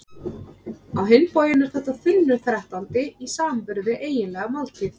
Á hinn bóginn er þetta þunnur þrettándi í samanburði við eiginlega máltíð.